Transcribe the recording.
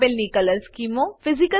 આપેલની colour સ્કીમો 1